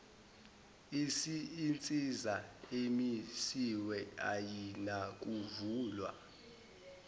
insiza emisiwe ayinakuvulwa